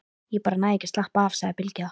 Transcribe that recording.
Ég bara næ ekki að slappa af, sagði Bylgja.